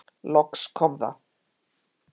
Loks kom það.